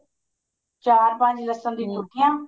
ਚਾਰ ਪੰਜ ਲਸਣ ਦੀ ਮੁੱਠੀਆਂ